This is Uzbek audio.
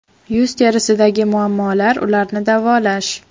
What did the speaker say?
Yuz terisidagi muammolar ularni davolash.